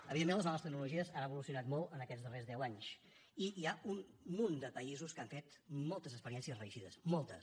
evidentment les noves tecnologies han evolucionat molt en aquests darrers deu anys i hi ha un munt de països que han fet moltes experiències reeixides moltes